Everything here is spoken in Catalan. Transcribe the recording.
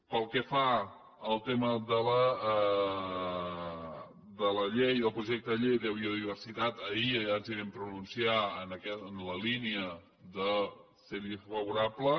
pel que fa al tema de la llei del projecte de llei de biodiversitat ahir ja ens hi vam pronunciar en la línia favorable